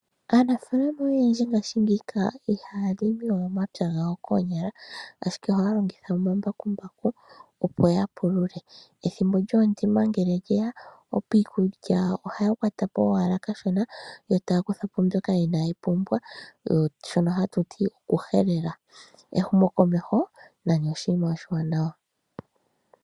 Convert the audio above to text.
Aanafaalama oyendji ngaashingeyi iha ya limi we omapya gawo koonyala ashike ohaya longitha omambakumbaku opo ya pulule. Ethimbo lyoondima ngele lye ya piilya ohaya gumu po owala kashona yo taya kuthapo shoka inaayi pumbiwa shoka haku tiwa okuhelela ehumokomeho nani oshinima oshiwanawa.